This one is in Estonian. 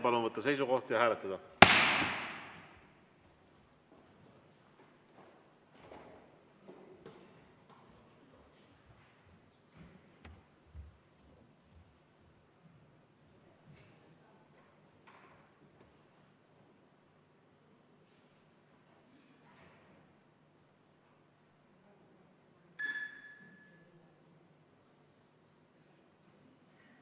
Palun võtta seisukoht ja hääletada!